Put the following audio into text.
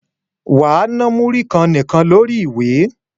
Wà á na múrí kan nìkan lórí ìwé!